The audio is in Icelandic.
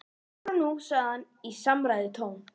Áfram nú sagði hann í samræðutón.